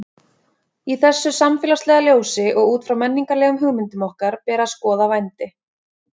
Í þessu samfélagslega ljósi og út frá menningarlegum hugmyndum okkar ber að skoða vændi.